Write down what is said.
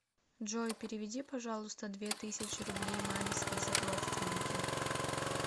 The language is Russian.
джой переведи пожалуйста две тысячи рублей маме список родственники